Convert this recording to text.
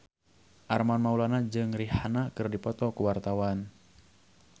Armand Maulana jeung Rihanna keur dipoto ku wartawan